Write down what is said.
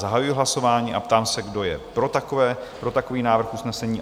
Zahajuji hlasování a ptám se, kdo je pro takový návrh usnesení?